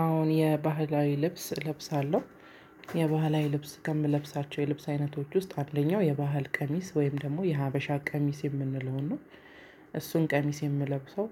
አዎን የባህላዊ ልብስ እለብሳለሁ የባህላዊ ልብስ ከምለብሳቸው የልብስ አይነቶች ውስጥ አንደኛው የባህል ቀሚስ ወይም ደግሞ የሀበሻ ቀሚስ የምንለው ነው። እሱን ቀሚስ የምለብሰው።